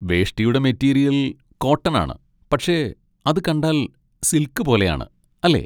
വേഷ്ടിയുടെ material cotton ആണ്, പക്ഷേ അത് കണ്ടാൽ സിൽക്ക് പോലെയാണ്, അല്ലേ?